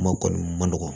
Kuma kɔni ma nɔgɔ